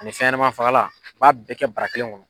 Ani fɛnɲɛma fagalan u b'a bɛɛ kɛ bara kelen kɔnɔ